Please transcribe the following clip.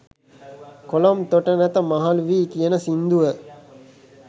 කොළොම් තොට නැත මහළු වී කියන සින්දුව.